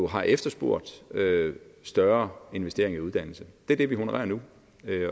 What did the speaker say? har efterspurgt større investeringer i uddannelse det er det vi honorerer nu